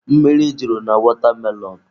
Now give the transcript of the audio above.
Mmiri juru na watermelon.